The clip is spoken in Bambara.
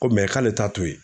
Ko k'ale t'a to yen